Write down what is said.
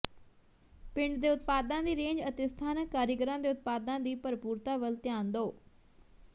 ਪਿੰਡ ਦੇ ਉਤਪਾਦਾਂ ਦੀ ਰੇਂਜ ਅਤੇ ਸਥਾਨਕ ਕਾਰੀਗਰਾਂ ਦੇ ਉਤਪਾਦਾਂ ਦੀ ਭਰਪੂਰਤਾ ਵੱਲ ਧਿਆਨ ਦਿਓ